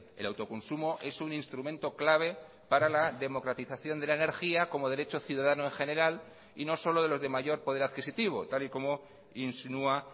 el autoconsumo es un instrumento clave para la democratización de la energía como derecho ciudadano en general y no solo de los de mayor poder adquisitivo tal y como insinúa